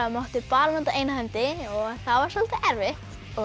mátti bara nota eina hendi og það var soldið erfitt